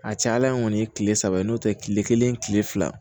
A ca ala in kɔni kile saba ye n'o tɛ kile kelen kile fila